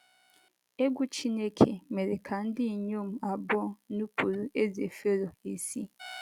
Egwú Chineke mere ka ndị inyom abụọ nupụrụ ezé Fero isi.